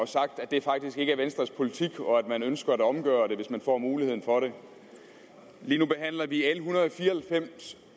sagt at det faktisk ikke er venstres politik og at man ønsker at omgøre det hvis man får muligheden for det lige nu behandler vi l en hundrede og fire og halvfems